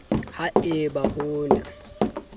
ha e ba ho na